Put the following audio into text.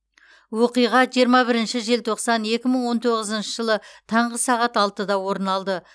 оқиға жиырма бірінші желтоқсан екі мың он тоғызыншы жылы таңғы сағат алтыда орын алды